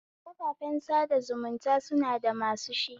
Kafafen sada zumunta suna da masu shi